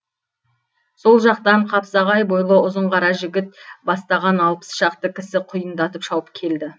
сол жақтан қапсағай бойлы ұзын қара жігіт бастаған алпыс шақты кісі құйындатып шауып келді